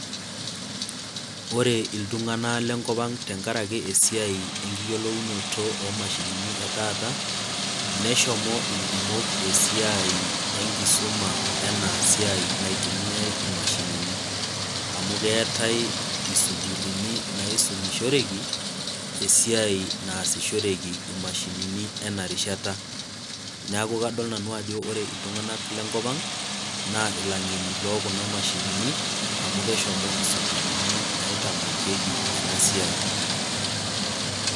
Ore iltunganak le nkop ang tengaraki esiai enkiyiolounoto imashinini etata neshomo ikumok dukuya tengaraki enasiai naitumiyai imashinini, amu kkeetae isukulini naisumishereki esiai naasishoreki imashinini enarishata ,neeku kadol nanu iltunganak lenkopang' ajo ilang'eni amu keshomo isukulini naisumi enasiai.